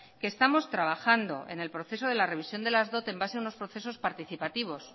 que estamos trabajando en el proceso de la revisión de las dot en base en unos procesos participativos